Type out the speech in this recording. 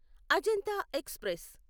Ajanta express